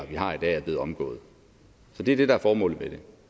vi har i dag er blevet omgået det er det der er formålet med det